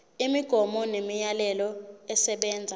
imigomo nemiyalelo esebenza